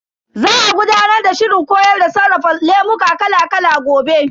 Za a gudanar da shirin koyar da sarrafa lemuka kala kala gobe.